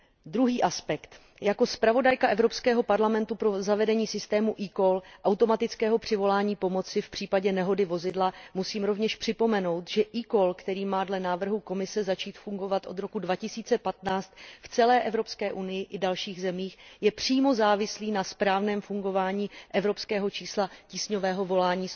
Druhý aspekt, jako zpravodajka Evropského parlamentu pro zavedení systému e call automatického přivolání pomoci v případě nehody vozidla musím rovněž připomenout, že e call, který má dle návrhu Komise začít fungovat od roku 2015 v celé Evropské unii i dalších zemích, je přímo závislý na správném fungování evropského čísla tísňového volání